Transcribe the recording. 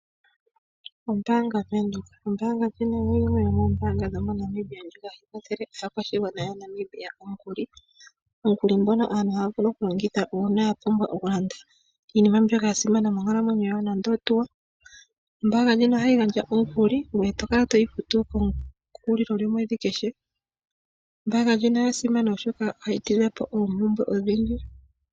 Ombaanga ya Venduka. Ombaanga ndjino oyo yimwe yomoombanga dho moNamibia dhoka hadhi kwathele aakwashigwana ya Namibia omukuli. Omukuli ngono aantu ohaya vulu okulongitha uuna ya pumbwa okulanda iinima mbyoka ya simana moonkalamweyo dhawo nande oshihauto. Ombaanga ndjoka oha yi gandja omukuli, ngoye to kala to yi futu ko kehulili lyomweedhi kehe. Ombaanga ndjino oya simana oshoka ohayi tidha po oompumbwe ondhindji.